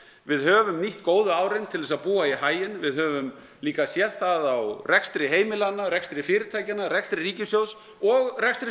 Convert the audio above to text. við höfum nýtt góðu árin til þess að búa í haginn við höfum líka séð það á rekstri heimilanna rekstri fyrirtækjanna rekstri ríkissjóðs og rekstri